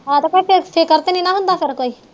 ਆਹ ਤੇ ਫੇਰ